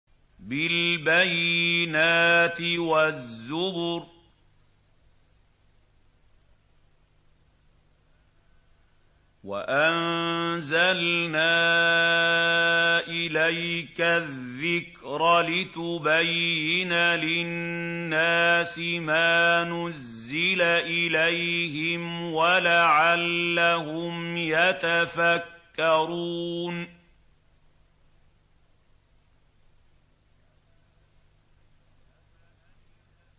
بِالْبَيِّنَاتِ وَالزُّبُرِ ۗ وَأَنزَلْنَا إِلَيْكَ الذِّكْرَ لِتُبَيِّنَ لِلنَّاسِ مَا نُزِّلَ إِلَيْهِمْ وَلَعَلَّهُمْ يَتَفَكَّرُونَ